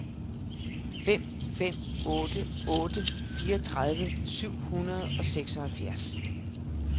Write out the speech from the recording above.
fem fem otte otte fireogtredive syv hundrede og seksoghalvfjerds